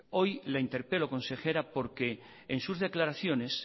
hoy le interpelo consejera porque en sus declaraciones